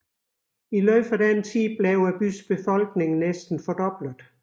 I løbet af denne tid blev byens befolkning næsten fordoblet